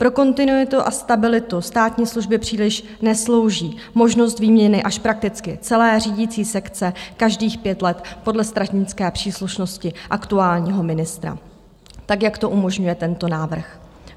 Pro kontinuitu a stabilitu státní služby příliš neslouží možnost výměny až prakticky celé řídicí sekce každých pět let podle stranické příslušnosti aktuálního ministra, tak jak to umožňuje tento návrh.